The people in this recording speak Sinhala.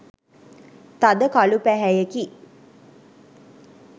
තද කළු පැහැයෙකි.